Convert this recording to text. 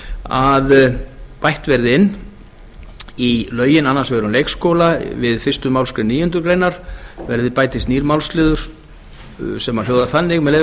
að bætt verði inn í lögin um leikskóla við fyrstu málsgrein níundu grein nýjum málslið sem hljóðar þannig með leyfi